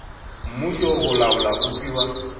mmušo go laola go fiwa